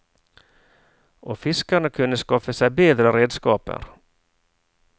Og fiskerne kunne skaffe seg bedre redskaper.